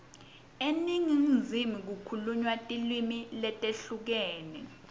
eningizimu kukhulunywa tilimi letehlukene